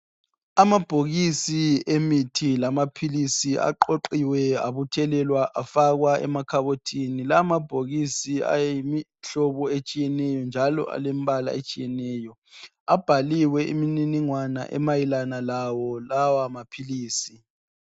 Amabhokisi emithi lamaphilisi aqoqiwe abuthelelwa afakwa emakhabothini lamabhokisi ayimihlobo etshiyeneyo njalo alembala etshiyeneyo abhaliwe imininingwane emayelana lawo lawa maphilisi.